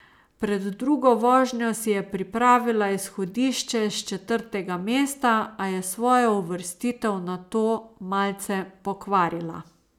Pred drugo vožnjo si je pripravila izhodišče s četrtega mesta, a je svojo uvrstitev nato malce pokvarila.